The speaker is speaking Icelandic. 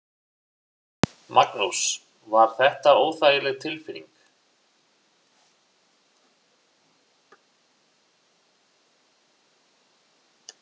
Magnús: Var þetta óþægileg tilfinning?